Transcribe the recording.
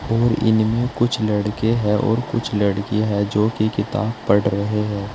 और इनमें कुछ लड़के है और कुछ लड़कियां है जो कि किताब पढ़ रहे है।